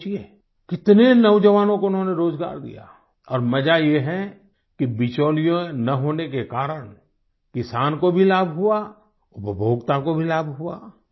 आप सोचिये कितने नौजवानों को उन्होंने रोजगार दिया और मज़ा ये है कि बिचौलियोँ ना होने के कारण किसान को भी लाभ हुआ और उपभोक्ता को भी लाभ हुआ